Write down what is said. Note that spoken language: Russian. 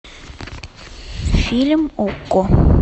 фильм окко